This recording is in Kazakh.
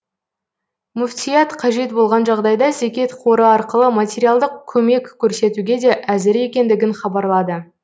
мүфтият қажет болған жағдайда зекет қоры арқылы материалдық көмек көрсетуге де әзір екендігін хабарлады